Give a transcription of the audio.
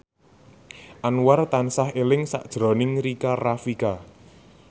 Anwar tansah eling sakjroning Rika Rafika